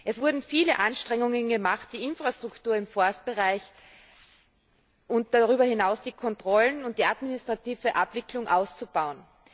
Es wurden viele Anstrengungen gemacht, die Infrastruktur im Forstbereich und darüber hinaus die Kontrollen und die administrative Abwicklung auszubauen.